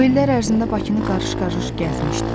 O illər ərzində Bakını qarış-qarış gəzmişdilər.